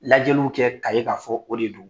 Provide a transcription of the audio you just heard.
Lajɛliw kɛ ka ye k'a fɔ o de don